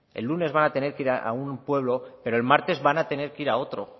el lunes van a tener que ir a un pueblo pero el martes van a tener que ir a otro